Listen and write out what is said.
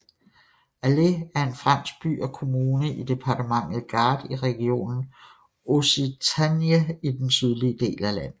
Alés er en fransk by og kommune i departementet Gard i regionen Occitanie i den sydlige del af landet